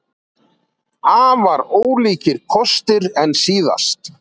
Afar ólíkir kostir en síðast